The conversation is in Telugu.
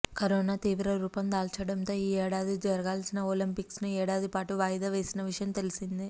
కరోనా తీవ్ర రూపం దాల్చడంతో ఈ ఏడాది జరగాల్సిన ఒలింపిక్స్ను ఏడాది పాటు వాయిదా వేసిన విషయం తెలిసిందే